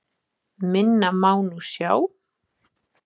Minna má nú sjá.